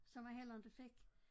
Som han heller inte fik